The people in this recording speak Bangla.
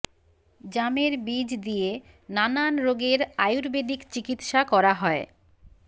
জামের বীজ দিয়ে নানান রোগের আয়ুর্বেদীক চিকিৎসা করা হয়